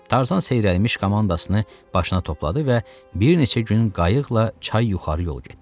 Tarzan seyrəlmiş komandasını başına topladı və bir neçə gün qayıqla çay yuxarı yol getdi.